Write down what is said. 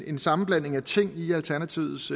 en sammenblanding af ting i alternativets